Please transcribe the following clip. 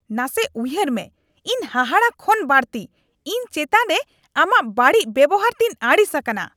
ᱱᱟᱥᱮ ᱩᱭᱦᱟᱹᱨ ᱢᱮ, ᱤᱧ ᱦᱟᱦᱟᱲᱟ ᱠᱷᱚᱱ ᱵᱟᱹᱲᱛᱤ , ᱤᱧ ᱪᱮᱛᱟᱱ ᱨᱮ ᱟᱢᱟᱜ ᱵᱟᱹᱲᱤᱡ ᱵᱮᱣᱦᱟᱨ ᱛᱮᱧ ᱟᱹᱲᱤᱥ ᱟᱠᱟᱱᱟ ᱾